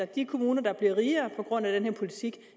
de kommuner der bliver rigere på grund af den her politik